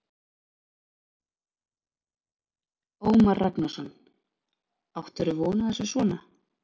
Ómar Ragnarsson: Áttirðu von á þessu svona?